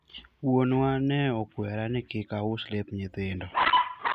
wuonwa ne okwera ni kik aus lep nyithindo